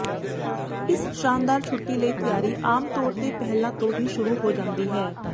ਇਸ ਸ਼ਾਨਦਾਰ ਛੁੱਟੀ ਲਈ ਤਿਆਰੀ ਆਮ ਤੌਰ ਤੇ ਪਹਿਲਾਂ ਤੋਂ ਹੀ ਸ਼ੁਰੂ ਹੋ ਜਾਂਦੀ ਹੈ